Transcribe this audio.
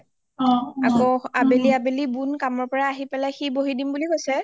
আকৌ আবেলি আবেলি বুন আহি পেলাই সি বহি দিম বুলি কৈছে